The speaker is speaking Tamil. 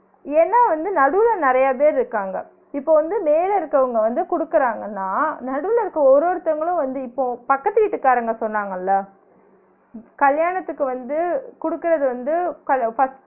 ஏன்னா வந்து நடுவுல நிறய பேர் இருக்காங்க இப்ப வந்து மேல இருக்குறவங்க வந்து குடுக்குறாங்கனா நடுவுல இருக்குற ஒரு ஒருத்தவங்களு வந்து இப்போ பக்கத்து வீட்டுகாரங்க சொன்னாங்கள்ள கல்யாணத்துக்கு வந்து குடுக்குறது வந்து ஹல கஸ்